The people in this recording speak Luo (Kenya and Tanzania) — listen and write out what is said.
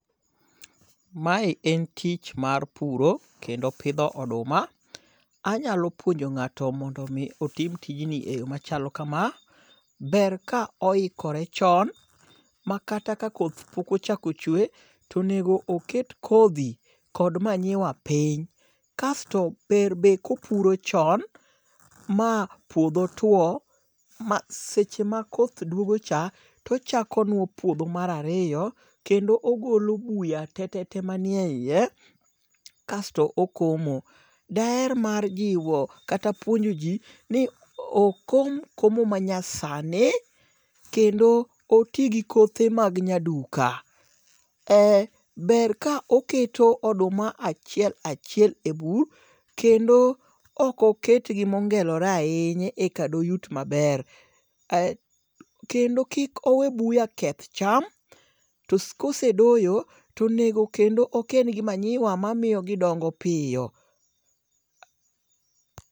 Mae en tich mar puro kendo pidho oduma. Anyalo puonjo ng'ato mondo mi otim tijni e yo machalo kama. Ber ka oikore chon makata ka koth pok ochako chwe to onego oket kodhi kod manyiwa piny. Kasto ber be kopuro chon ma puodho tuo. Seche ma koth duogo cha tochako nuo puodho mar ariyo kendo ogolo buya tetete manieyiye. Kaesto okomo. Daher mar jiwo kata puonjo ji ni okom komo ma nya sani kendo oti gi kothe mag nyaduka. Ber ka oketo oduma achiel achiel e bur kendo ok oket gi mongelore ahinya e ka do yut maber. Kendo kik owe buya keth cham to kosedoyo to onego kendo oken gi manyiwa ma miyo gidongo piyo.